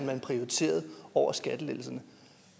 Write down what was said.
man prioriterer over skattelettelser